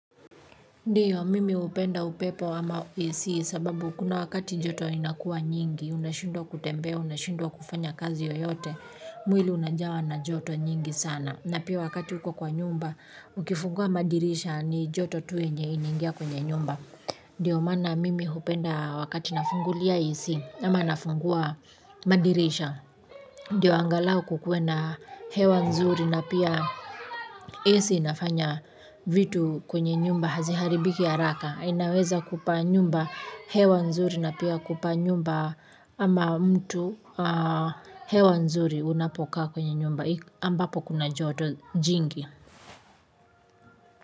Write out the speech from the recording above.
Ndiyo mimi hupeda upepo ama isi kwasababu kuna wakati joto inakua nyingi unashindwa kutembea unashindwa kufanya kazi yoyote mwili unajawa na joto nyingi sana na pia wakati uko kwa nyumba ukifungua madirisha ni joto tu yenye inaingia kwenye nyumba. Ndio maana mimi upenda wakati nafungulia AC ama nafungua madirisha. Ndio angalau kukuwa na hewa nzuri na pia AC inafanya vitu kwenye nyumba haziharibiki haraka, inaweza kupa nyumba hewa nzuri na pia kupa nyumba ama mtu hewa nzuri unapokaa kwenye nyumba ambapo kuna joto jingi.